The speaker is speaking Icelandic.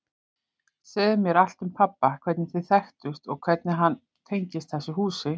Segðu mér allt um pabba, hvernig þið þekktust og hvernig hann tengist þessu húsi.